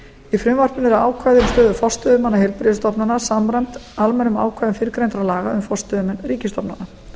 í frumvarpinu eru ákvæði um stöðu forstöðumanna heilbrigðisstofnana samræmd almennum ákvæðum fyrrgreindra laga um forstöðumenn ríkisstofnana